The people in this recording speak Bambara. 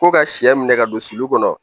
Ko ka sɛ minɛ ka don sulu kɔnɔ